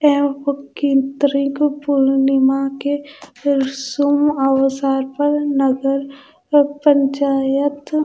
केंत्रिक पूर्णिमा के सुम अवसर पर नगर पंचायत--